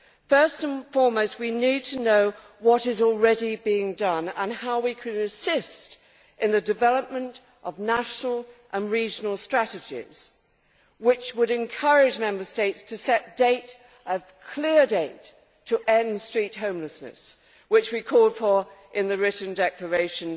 First and foremost, we need to know what is already being done and how we can assist in the development of national and regional strategies which would encourage Member States to set a clear date to end street homelessness, which we called for in the written declaration